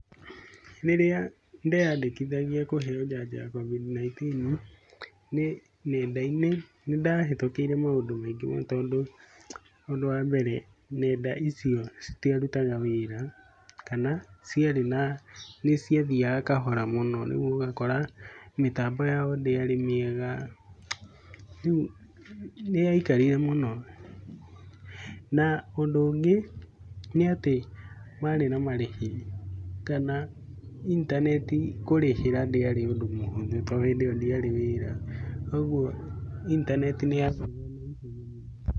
Rĩrĩa ndeyandĩkithagia kũheo njanjo ya Covid 19 nenda-inĩ, nĩ ndahĩtũkĩire maũndũ maingĩ mũno tondũ ũndũ wa mbere nenda icio citiarutaga wĩra, kana ciari na nĩ ciathiaga kahora mũno. Rĩu ũgakora mĩtambo yao ndĩarĩ mĩega, nĩ yaikarire mũno . Na ũndũ ũngĩ, nĩ ati kwarĩ na marĩhi kana intaneti kũrĩhĩra ndĩarĩ ũndũ mũhũthũ tondũ hĩndĩ ĩyo ndiarĩ wĩra koguo intaneti nĩyathiraga na ihenya mũno.